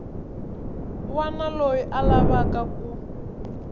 wana loyi a lavaka ku